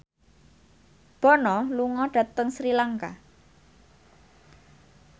Bono lunga dhateng Sri Lanka